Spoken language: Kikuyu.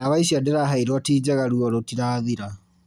Ndawa icio ndĩraheirwo ti njega ruo rũtirathira